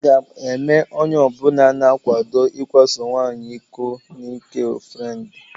Aga m eme onyeọbụla na-akwado ikwaso nwaanyị iko n'ị́kè ọnfrendi.